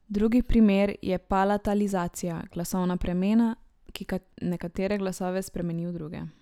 Drugi primer je palatalizacija, glasovna premena, ki nekatere glasove spremeni v druge.